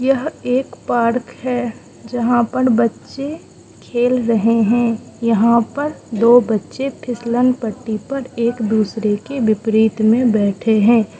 यह एक पार्क है जहां पर बच्चे खेल रहे हैं यहां पर दो बच्चे फिसलन पट्टी पर एक दूसरे के विपरीत में बैठे हैं।